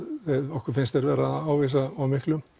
okkur finnst þeir vera að ávísa of miklu